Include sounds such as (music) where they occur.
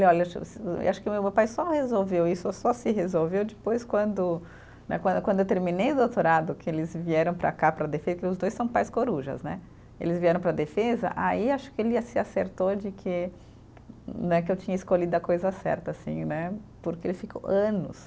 E olha, (unintelligible) acho que o meu pai só resolveu isso, só se resolveu depois, quando né, quando quando eu terminei o doutorado, que eles vieram para cá para a defesa, porque os dois são pais corujas né, eles vieram para a defesa, aí acho que ele ia se acertou de que né, que eu tinha escolhido a coisa certa sim né, porque ele ficou anos